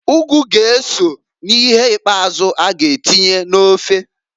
Ugu g'eso n'ihe ikpazụ a g'atinye n'ofe.